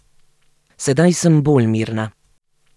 Sedaj sem bolj mirna.